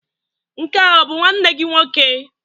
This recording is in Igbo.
Nke a ọ bụ nwanne gị nwoke?